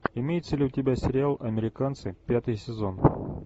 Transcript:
имеется ли у тебя сериал американцы пятый сезон